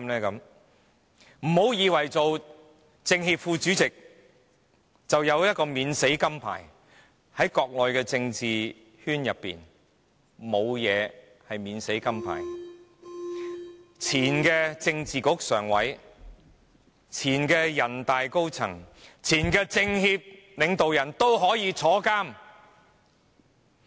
不要以為擔任政協副主席便有免死金牌，在國內的政治圈是沒有免死金牌的，前政治局常委、前人大常委會高層和前政協領導人都可以入獄。